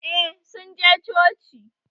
Eh, sun je coci